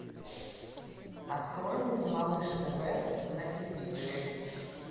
открой мне малыш тв на телевизоре